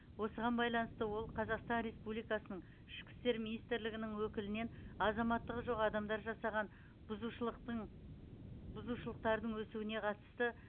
осыған байланысты ол қазақстан республикасының ішкі істер министрлігінің өкілінен азаматтығы жоқ адамдар жасаған бұзушылықтың бұзушылықтардың өсуіне қатысты